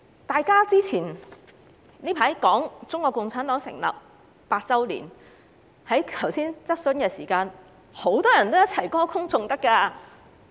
大家最近談論中國共產黨成立100周年，在剛才的質詢時間，多位議員都歌功頌德。